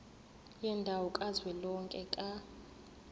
yendawo kazwelonke ka